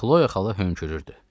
Xloya xala hönkürürdü.